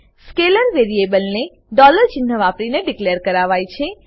scalar વેરીએબલને ચિન્હ વાપરીને ડીકલેર કરાવાય છે